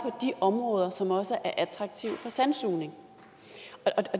de områder som også er attraktive for sandsugning